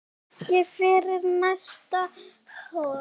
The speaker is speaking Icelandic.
Ekki fyrir næsta horn.